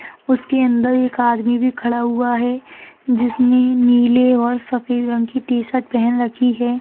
उसके अंदर एक आदमी भी खड़ा हुआ है जिसने नीले और सफ़ेद रंग की टि-शर्ट पहन रखी है।